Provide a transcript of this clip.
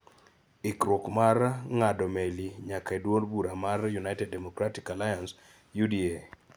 ikruok mar ng'ado meli nyaka e duond bura mar United Democratic Alliance (UDA)